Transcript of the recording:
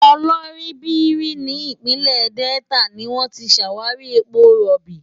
Oloibiri ní ìpínlẹ̀ Delta ni wọ́n ti ṣàwárí epo rọ̀bì.